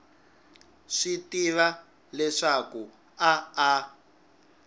swi tiva leswaku a a